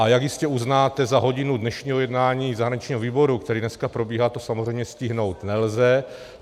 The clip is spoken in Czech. A jak jistě uznáte, za hodinu dnešního jednání zahraničního výboru, které dneska probíhá, to samozřejmě stihnout nelze.